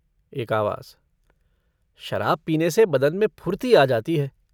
एक आवाज़ - शराब पीने से बदन में फुर्ती आ जाती है।